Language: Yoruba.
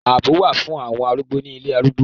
Ààbọ̀ wà fún àwọn arúgbó ní ilé arúgbó.